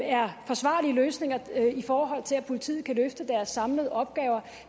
er forsvarlige løsninger i forhold til at politiet kan løfte deres samlede opgaver